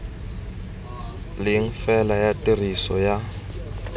leng fela ya tiriso ya